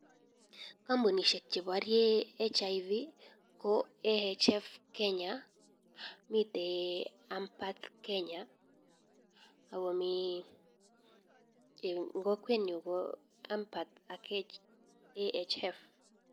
Kampunisiek chebarie HIV ko AHF Kenya miite ampath Kenya akomii ngokwet nyu ko ampath ak AHF